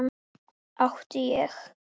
Átti ég.